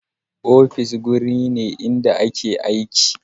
Ofis wuri ne inda ake yin aiki